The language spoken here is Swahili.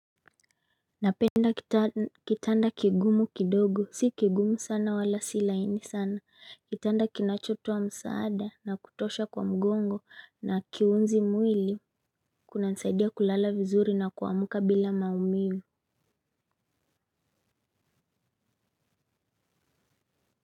Napenda kitanda kigumu kidogo. Si kigumu sana wala sila ini sana. Kitanda kinachoto a msaada na kutosha kwa mgongo na kiunzi mwili. Kuna nisaidia kulala vizuri na kuamka bila maumivu.